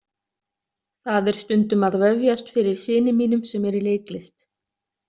Það er stundum að vefjast fyrir syni mínum sem er í leiklist.